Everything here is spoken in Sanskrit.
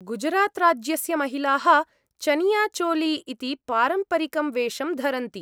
गुजरात्राज्यस्य महिलाः चनियाचोली इति पारम्परिकं वेषं धरन्ति।